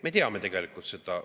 Me teame tegelikult seda.